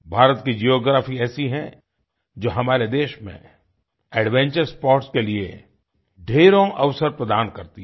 भारत की जियोग्राफी ऐसी है जो हमारे देश में एडवेंचर स्पोर्ट्स के लिए ढेरों अवसर प्रदान करती है